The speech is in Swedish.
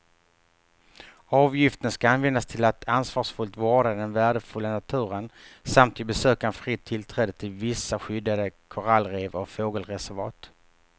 Avgiften ska användas till att ansvarsfullt vårda den värdefulla naturen samt ge besökaren fritt tillträde till vissa skyddade korallrev och fågelreservat.